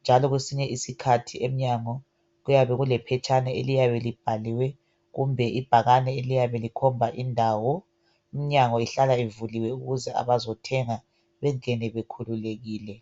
njalo kwesinye isikhathi emnyango kuyabe kulephetshana eliyabe libhaliwe kumbe ibhakane eliyabe likhomba indawo iminyango ihlala ivuliwe ukuze abazothenga bengene bekhululekile.